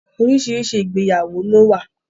Oríṣiríṣi ìgbéyàwó lówà.